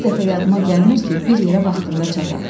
Bir dəfə yadıma gəlmir ki, bir yerə vaxtında çataq.